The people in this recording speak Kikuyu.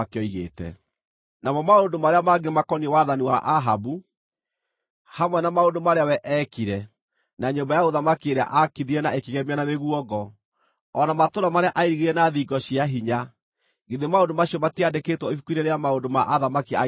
Namo maũndũ marĩa mangĩ makoniĩ wathani wa Ahabu, hamwe na maũndũ marĩa we eekire, na nyũmba ya ũthamaki ĩrĩa aakithirie na ĩkĩgemio na mĩguongo, o na matũũra marĩa airigire na thingo cia hinya, githĩ maũndũ macio matiandĩkĩtwo ibuku-inĩ rĩa maũndũ ma athamaki a Isiraeli?